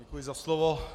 Děkuji za slovo.